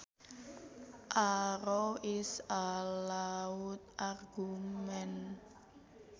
A row is a loud argument